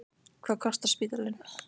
Hvað kostar spítalinn?